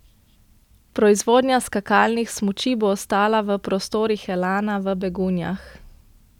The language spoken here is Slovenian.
Proizvodnja skakalnih smuči bo ostala v prostorih Elana v Begunjah.